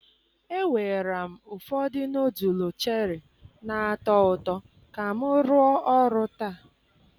ewera m ụfọdụ nọdụlụ cheri na-atọ ụtọ ka m rụọ ọrụ taa.